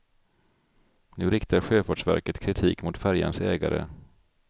Nu riktar sjöfartsverket kritik mot färjans ägare.